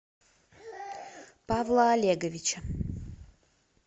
павла олеговича